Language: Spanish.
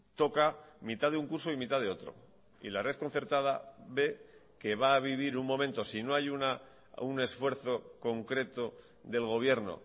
toca mitad de un curso y mitad de otro y la red concertada ve que va a vivir un momento sino hay un esfuerzo concreto del gobierno